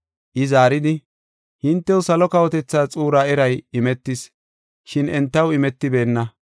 I zaaridi, “Hintew salo kawotethaa xuuraa eray imetis, shin entaw imetibeenna.